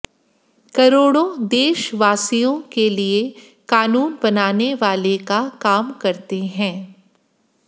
करोड़ों देशवासियों के लिए कानून बनाने वाले का काम करते हैं